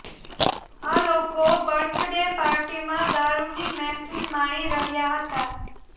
આ લોકો birthday પાર્ટીમાં દારૂની મહેફીલ માણી રહ્યાં હતાં